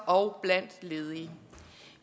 og blandt ledige